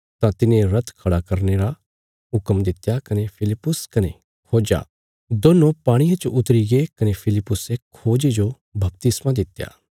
तां तिने रथ खड़ा करने रा हुक्म दित्या कने फिलिप्पुस कने खोज्जा दोन्नो पाणिये च उतरीगे कने फिलिप्पुसे खोजे जो बपतिस्मा दित्या